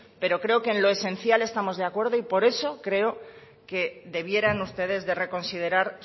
pero creo que en lo esencial estamos de acuerdo y por eso creo que debieran ustedes de reconsiderar